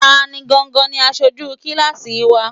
Ta gangan ni aṣojú kíláásì wa?